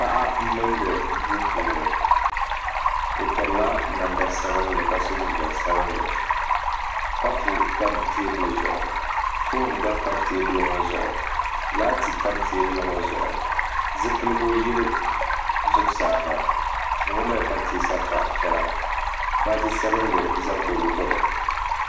Paɣa m-mindi duu puuni o pirila namda sabinli ka so jinjam sabinli kapu tam teebuli zuɣu foon gba pa teebuli ŋɔ zuɣu laati tam teebuli ŋɔ zuɣu zipiligu yili zuɣusaa ha duu ŋɔ mali pateesa piɛla baaji sabinli za garo gbuni.